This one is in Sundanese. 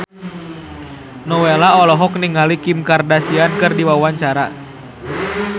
Nowela olohok ningali Kim Kardashian keur diwawancara